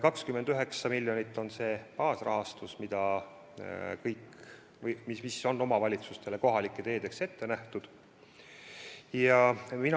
29 miljonit on baassumma, mis on omavalitsustele kohalikeks teedeks ette nähtud.